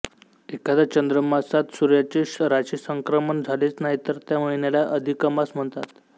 एखाद्या चांद्रमासात सूर्याचे राशिसंक्रमण झालेच नाही तर त्या महिन्याला अधिकमास म्हणतात